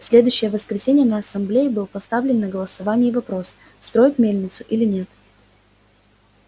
в следующее воскресенье на ассамблее был поставлен на голосование вопрос строить мельницу или нет